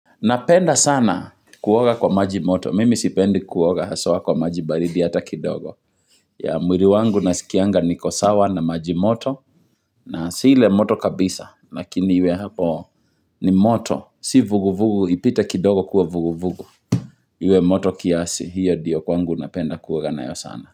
Napenda sana kuoga kwa maji moto. Mimi sipendi kuoga haswa kwa maji baridi hata kidogo. Ya mwili wangu nasikianga niko sawa na maji moto. Na si le moto kabisa. Lakini iwe hapo ni moto. Si vuguvugu. Ipite kidogo kuwa vuguvugu. Iwe moto kiasi. Hiyo ndiyo kwangu napenda kuora na yo sana.